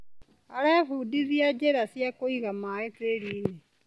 Arebundithia njĩra cia kũiga maĩ tĩrinĩ.